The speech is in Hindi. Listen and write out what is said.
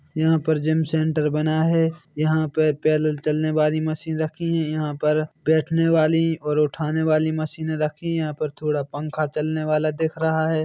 यहाँ पर जिम सेण्टर बना है यहाँ पर पैदल चलने वाली मशीन रखी है यहाँ पर बैठने वाली और उठाने वाली मशीने रखी यहाँ पर थोड़ा पंखा चलने वाला रखा है।